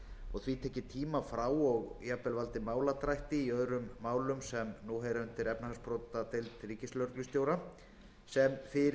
og því tekið tíma frá og valdið máladrætti í öðrum málum sem nú heyra undir efnahagsbrotadeild ríkislögreglustjóra sem fyrir er störfum